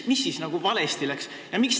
Mis siis nagu valesti läks?